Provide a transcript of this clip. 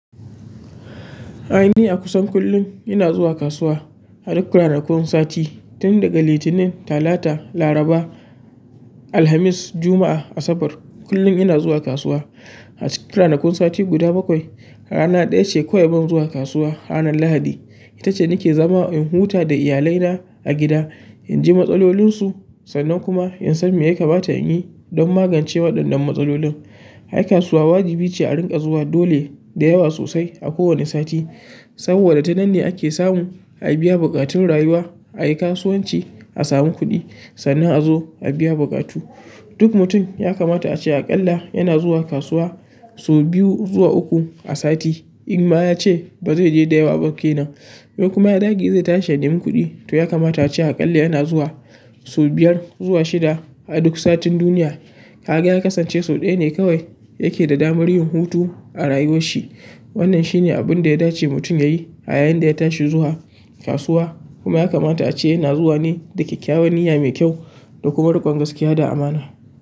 Ai ni akusan kullum ina zuwa kasuwa a duk ranakun sati tun daga Litinin, Talata, Laraba, Alhamis, Juma'a, Asabar. Kullum ina zuwa kasuwa. A cikin ranakun sati guda bakwai, rana ɗaya ce kawai ban zuwa kasuwa hanan Lahadi. Ita ce nake zama in huta da iyalaina a gida, in ji matsalolinsu sannan kuma in san me ya kamata in yi don magance waɗannan matsalolin. Ai kasuwa wajibi ce a rinƙa zuwa dole da yawa sosai a kowane sati, saboda ta nan ne ake samu a biya buƙatun rayuwa. A yi kasuwanci, a samu kuɗi sannan a zo a biya buƙatu. Duk mutum ya kamata a ce aƙalla yana zuwa kasuwa sau biyu zuwa uku a sati, in ma ya ce ba zai je da yawa ba ke nan. Yau kuma ya dage zai tashi ya nemi kuɗi, to ya kamata a ce aƙalla yana zuwa sau biyar zuwa shida a duk satin duniya. Kaga ya kasance sau ɗaya ne kawai yake da damar yin hutu a rayuwar shi. Wannan shi ne abin da ya dace mutum ya yi a yayin da ya tashi zuwa kasuwa. Kuma ya kamata ace yana zuwa ne da kyakkyawan niyya mai kyau da kuma rikon gaskiya.